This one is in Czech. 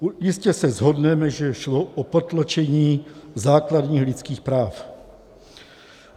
Jistě se shodneme, že šlo o potlačení základních lidských práv.